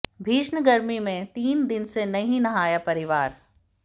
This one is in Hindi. भीषण गर्मी में तीन दिन से नहीं नहाया परिवार